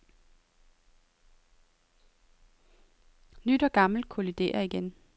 Nyt og gammelt kolliderer igen.